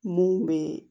Mun be